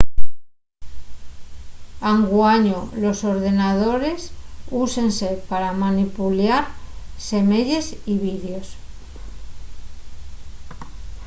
anguaño los ordenadores úsense pa manipuliar semeyes y vídeos